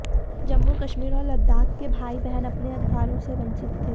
जम्मू कश्मीर और लद्दाख के भाई बहन अपने अधिकारों से वंचित थे